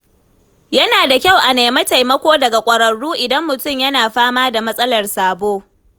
Yana da kyau a nemi taimako daga ƙwararru idan mutum yana fama da matsalar sabo.